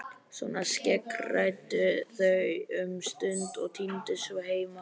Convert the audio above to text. Svona skeggræddu þau um stund og tíndust svo heim.